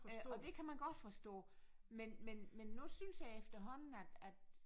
Øh og det kan man godt forstå men men men nu synes jeg efterhånden at at